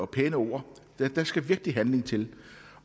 pæne ord der skal virkelig handling til